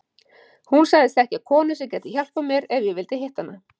Hún sagðist þekkja konu sem gæti hjálpað mér ef ég vildi hitta hana.